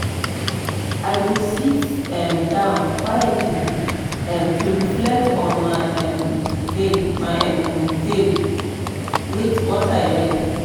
i go sit um down quietly um to reflect on my um day my um day and what i learn.